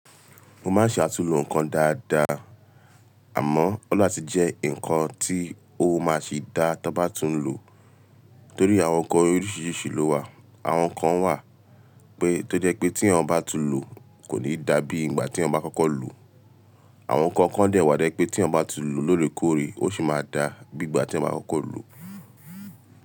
Mo máa ń ṣe àtúnlò ǹkan dáadáa, àmọ́ ọni la ti jẹ́ ǹkan tí ó máa sì dá tí abá tuń lò. Nítorí àwọn nǹkan oríṣiríṣi ló wà. Àwọn kan wà pé tó jẹ́ pé tí eyan bá tun lò kò ní dàbí ìgbà tí eyan bá kọ́kọ́ lò. Àwọn kan kan dẹ̀ wá to je pé tí eyan bati lò lóòrèkóòrè ó sì máa dà bí ìgbà tí eyan bá kọ́kọ́ lo.